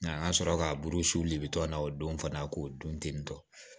Nga an ga sɔrɔ ka burusu le bitɔ na o don fana k'o dun tentɔ